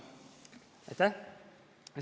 Aitäh!